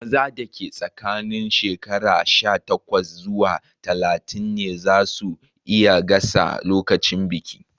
Maza da ke tsakanin shekaru sha takwas zuwa talatin ne zasu iya gasa lokacin bikin.